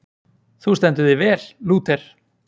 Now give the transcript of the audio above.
Þú stendur þig vel, Lúter!